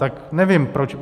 Tak nevím proč.